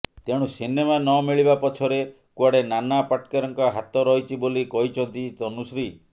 ତେଣୁ ସିନେମା ନମିଳିବା ପଛରେ କୁଆଡେ ନାନା ପାଟେକରଙ୍କ ହାତ ରହିଛି ବୋଲି କହିଛନ୍ତି ତନୁଶ୍ରୀ